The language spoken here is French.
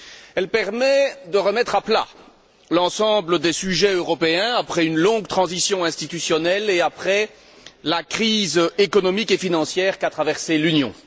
Il permet de remettre à plat l'ensemble des sujets européens après une longue transition institutionnelle et après la crise économique et financière qu'a traversée l'Union.